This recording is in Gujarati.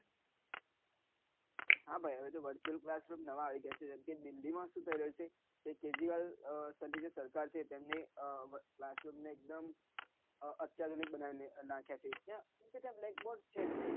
હા ભાઈ હવે તો નવા આવી રહ્યા છે જેમકે દીલ્લી માં શુ કરે છે કે કેજરીવાલ આહ તરીકે ની સરકાર છે તેમને આહ એક દમ અત્યાર જનક બનાવી નાક્યા છે કેમ કે ત્યાં black bord જ નઈ